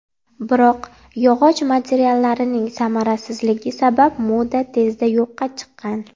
Biroq yog‘och materiallarning samarasizligi sabab moda tezda yo‘qqa chiqqan.